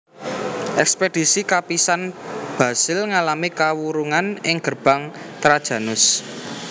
Ekspedisi kapisan Basil ngalami kawurungan ing Gerbang Trajanus